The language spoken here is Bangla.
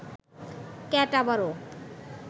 ক্যাট আবারও